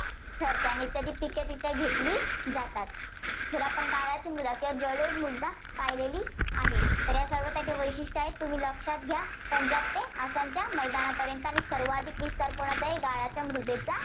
ठरते. आणि इत्यादी पिकं तिथं घेतली जातात. तर आपण गाळाची मृदा किंवा जलोद मृदा पाहिलेली आहे. तर ही सर्व त्याची वैशिष्ट्यं आहेत, तुम्ही लक्षात घ्या. पंजाब ते आसामच्या मैदानापर्यंत सर्वांधिक विस्तार कुणाचा आहे, गाळाच्या मृदेचा